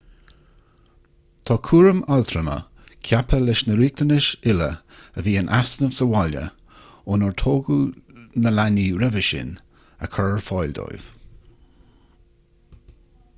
tá cúram altrama ceaptha leis na riachtanais uile a bhí in easnamh sa bhaile ónar tógadh na leanaí roimhe sin a chur ar fáil dóibh